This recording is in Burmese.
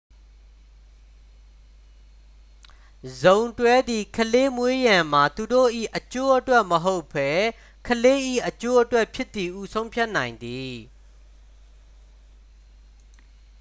စုံတွဲသည် ကလေးမွေးရန်မှာ သူတို့၏အကျိုးအတွက်မဟုတ်ဘဲ ကလေး၏အကျိုးအတွက်ဖြစ်သည်ဟု ဆုံးဖြတ်နိုင်သည်